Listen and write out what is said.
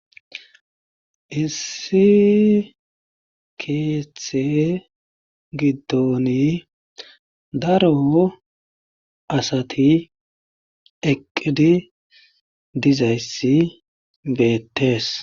issi keeththe giddoni daro asati eqqidi dizayssi beettees